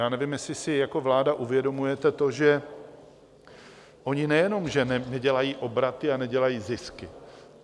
Já nevím, jestli si jako vláda uvědomujete to, že oni nejenom že nedělají obraty a nedělají zisky.